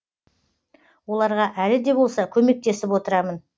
оларға әлі де болса көмектесіп отырамын